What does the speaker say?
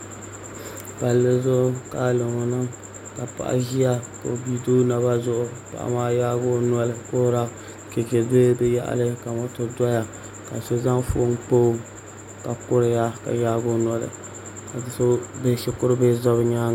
Palli zuɣu ka alobo niŋ ka paɣa ʒia ka o bia do o naba zuɣu ka paɣa maa yaagi o noli kuhura chɛchɛ do bi yaɣali ka moto doya ka so zaŋ foon kpa o ka kuriya ka yaagi o noli ka shikuru bihi ʒɛ bi nyaanga